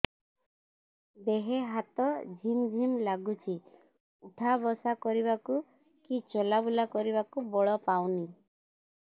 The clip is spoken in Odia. ଦେହେ ହାତ ଝିମ୍ ଝିମ୍ ଲାଗୁଚି ଉଠା ବସା କରିବାକୁ କି ଚଲା ବୁଲା କରିବାକୁ ବଳ ପାଉନି